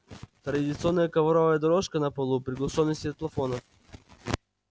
традиционная ковровая дорожка на полу приглушённый свет плафонов